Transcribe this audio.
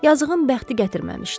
Yazığın bəxti gətirməmişdi.